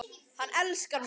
Hann elskar mig